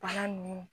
Bana nunnu